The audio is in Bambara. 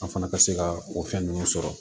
An fana ka se ka o fɛn ninnu sɔrɔ